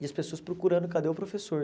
E as pessoas procurando cadê o professor.